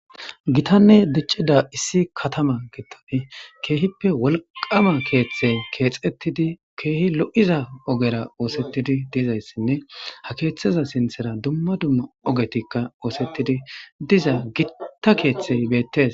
Gitane dicida issi katama kethati kehippe wolqama keethe keexetidi kehi lo'iza ogera osetidi dizaysine ha keetheza sinthera dumma dumma ogeti osetidi diza gotta kethey betes